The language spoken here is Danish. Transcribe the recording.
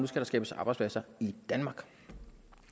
skal skabes arbejdspladser i danmark